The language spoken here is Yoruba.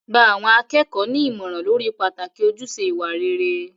Gba àwọn akẹ́kọ̀ọ́ ní ìmọ̀ràn lórí pàtàkì ojúṣe ìwà rere.